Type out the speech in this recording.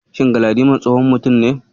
Shin Galadiman tsohon mutum ne?